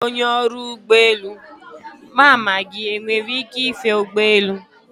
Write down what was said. Dịka onye ọrụ ụgbọ elu, mama gị enwere ike ife ụgbọelu?